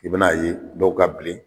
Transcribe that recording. I bɛna ye dɔw ka bilen